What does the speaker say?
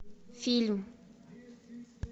фильм